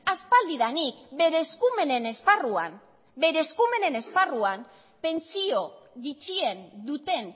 aspaldidanik bere eskumenen esparruan bere eskumenen esparruan pentsio gutxien duten